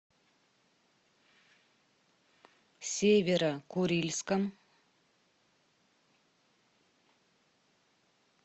северо курильском